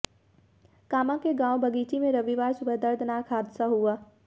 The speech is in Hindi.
कामां के गांव बगीची में रविवार सुबह दर्दनाक हादसा हुआ